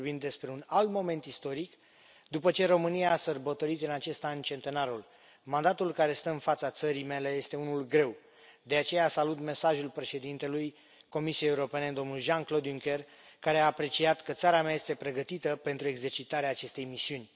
Vorbim despre un alt moment istoric, după ce România a sărbătorit în acest an centenarul. Mandatul care stă în fața țării mele este unul greu, de aceea salut mesajul președintelui Comisiei Europene, domnul Jean Claude Juncker, care a apreciat că țara mea este pregătită pentru exercitarea acestei misiuni.